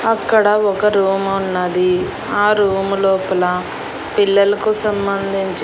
అక్కడ ఒక రూమ్ ఉన్నది ఆ రూమ్ లోపల పిల్లలకు సంబంధించిన.